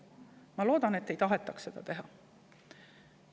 Ma loodan, et nii ei taheta teha.